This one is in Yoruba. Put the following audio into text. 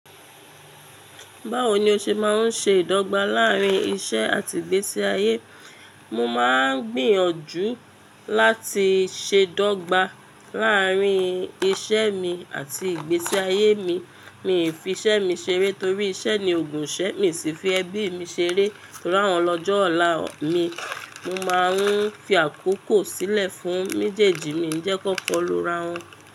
Báwo ni o ṣe máa ń ṣe ìdọ́gba láàárín iṣẹ́ àti ìgbésí ayé? Mo máa ń gbìyànjú láti ṣe dọ́gba láàárín iṣẹ́ mi àti ìgbésí ayé mi. Mi ò fi iṣẹ́ mi ṣeré torí iṣẹ́ ni ògùnṣẹ́ mi sì fi ẹbí mi ṣeré. Torí àwọn ni ọjo ọ̀la mi, mo máa ń fi àkókò sílẹ̀ fún méjèèjì mi. Ǹjẹ́ kó kọlu ara wọn.